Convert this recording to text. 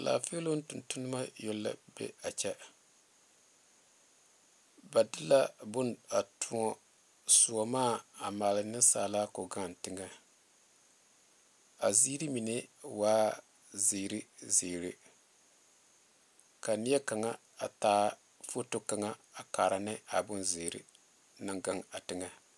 Laafeeloŋ tontoneba yoŋ la be a kyɛ ba de la bone a toɔ soɔmaa a maale nensaala k,o gaŋ teŋɛ a ziiri mine waa zeere zeere ka neɛ kaŋa a taa foto kaŋa a kaare ne a bonzeere naŋ gaŋ a teŋɛ.